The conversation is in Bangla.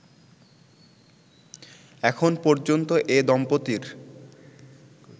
এখন পর্যন্ত এ দম্পতির